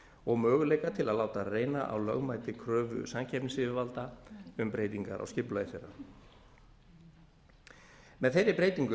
og möguleika til að láta reyna á lögmæti kröfu samkeppnisyfirvalda um breytingar á skipulagi þeirra með þeirri breytingu